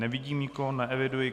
Nevidím nikoho, neeviduji.